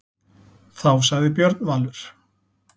Þá sagði Björn Valur: